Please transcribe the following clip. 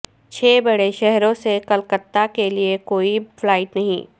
چھ بڑے شہروں سے کلکتہ کیلئے کوئی فلائٹ نہیں